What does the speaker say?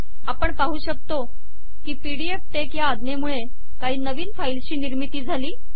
आपण पाहू शकतो की pdfटेक्स ह्या अज्ञेमूळे काही नवीन फाईलशी निर्मिती झाली